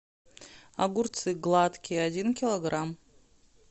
огурцы гладкие один килограмм